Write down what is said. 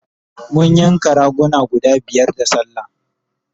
mun yanka raguna guda biyar da sallah